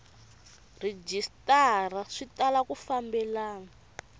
rhejisitara swi tala ku fambelena